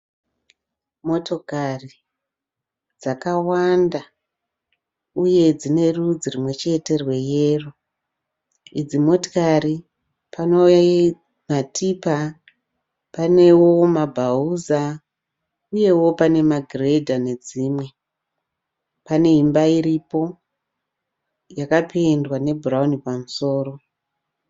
Motokari dzakawanda uye dzinerudzi rwumwechete rweyero. Idzi motokari pane matipa, panewo mabhauza uye magiredha nedzimwe. Pane imba iripo, yakapendwa nebhurauni pamusoro.